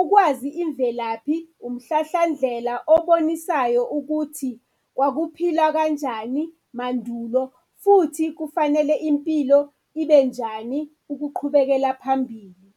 Ukwazi imvelaphi umhlahlandlela obonisayo ukuthi kwakuphilwa kanjani mandulo, futhi kufanele impilo ibenjani ukuqhubekela phambili.